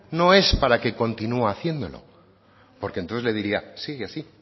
no es para que continúe haciéndolo porque entonces le diría sigue así